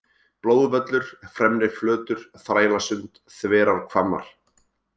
Blóðvöllur, Fremriflötur, Þrælasund, Þverárhvammar